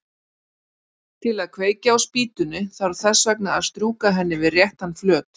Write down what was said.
Til að kveikja á spýtunni þarf þess vegna að strjúka henni við réttan flöt.